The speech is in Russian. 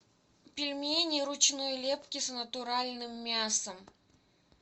пельмени ручной лепки с натуральным мясом